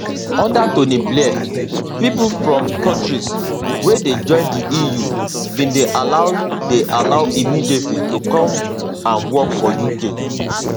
under tony blair pipo from kontris wey dey join di eu bin dey allowed dey allowed immediately to come and work for uk